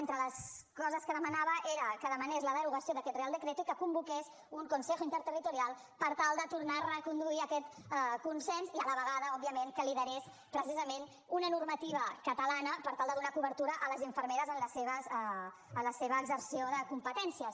entre les coses que demanava era que demanés la derogació d’aquest real decreto i que convoqués un consejo interterritorialconsens i a la vegada òbviament que liderés precisament una normativa catalana per tal de donar cobertura a les infermeres en la seva exerció de competències